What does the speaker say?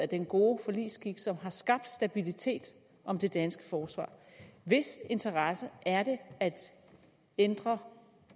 den gode forligsskik som har skabt stabilitet om det danske forsvar hvis interesse er det at ændre